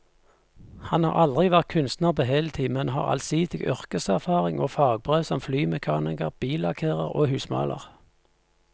Han har aldri vært kunstner på heltid, men har allsidig yrkeserfaring og fagbrev som flymekaniker, billakkerer og husmaler.